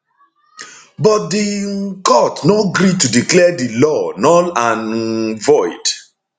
but di um court no gree to declare di law null and um void